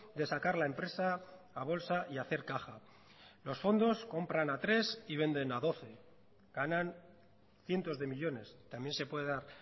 de sacar la empresa a bolsa y hacer caja los fondos compran a tres y venden a doce ganan cientos de millónes también se puede dar